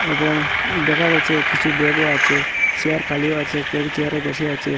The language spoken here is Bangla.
এবং দেখা গেছে কিছু ব্যাগও আছে চেয়ার খালিও আছে কেউ চেয়ারে বসে আছে।